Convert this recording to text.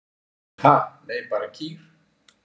Ha, nei, bara kýr.